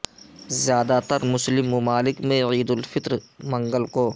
زیادہ تر مسلم ممالک میں عید الفطر منگل کو